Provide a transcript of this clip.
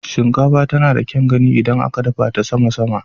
Shinkafa tana da kyaun gani idan aka dafa ta sama-sama.